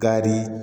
Ka di